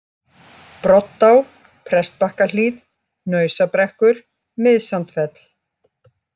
Broddá, Prestbakkahlíð, Hnausabrekkur, Miðsandfell